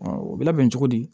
o bɛ labɛn cogo di